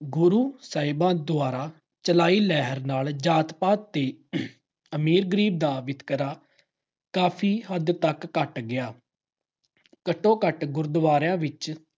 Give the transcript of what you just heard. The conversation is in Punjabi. ਗੁਰੂ ਸਾਹਿਬਾਂ ਦੁਆਰਾ ਚਲਾਈ ਲਹਿਰ ਨਾਲ ਜਾਤ-ਪਾਤ ਤੇ ਅਮੀਰ-ਗਰੀਬ ਦਾ ਵਿਤਕਰਾ ਕਾਫੀ ਹੱਦ ਤੱਕ ਘੱਟ ਗਿਆ। ਘੱਟੋ-ਘੱਟ ਗੁਰਦੁਆਰਿਆਂ ਵਿੱਚ